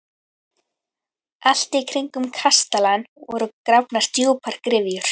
Allt í kringum kastalann voru grafnar djúpar gryfjur.